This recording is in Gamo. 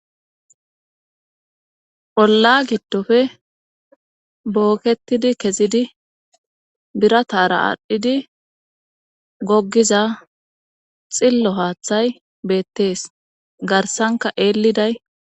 olla giddofe booketidi kezidi biratara aadhdhidi goggiza xillo haaththay beettees garsanka eelliday